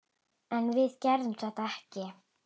En við gerðum þetta ekki!